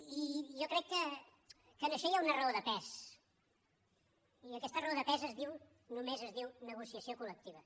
i jo crec que en això hi ha una raó de pes i aquesta raó de pes només es diu negociació col·lectiva